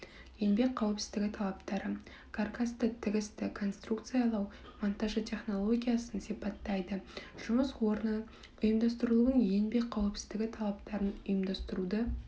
еңбек қауіпсіздігі талаптары каркасты тігісті конструкциялау монтажы технологиясын сипаттайды жұмыс орны ұйымдастырылуын еңбек қауіпсіздігі талаптарын ұйымдастыруды